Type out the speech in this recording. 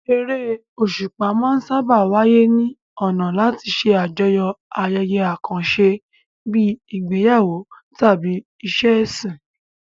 Eré òṣùpá máa ń sáábà wáyé ní ọ̀nà láti ṣe àjọyọ̀ ayẹyẹ àkànṣe bíi ìgbéyàwó tàbí ìṣe ẹ̀sìn.